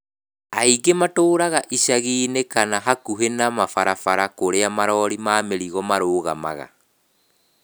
Aingĩ matũũraga icagi-inĩ kana hakuhĩ na barabara kũrĩa marori ma mirigo marũgamaga.